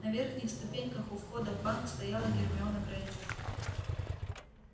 на верхних ступеньках у входа в банк стояла гермиона грэйнджер